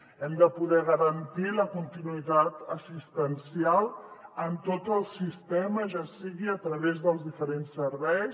hem de poder garantir la continuïtat assistencial en tot el sistema ja sigui a través dels diferents serveis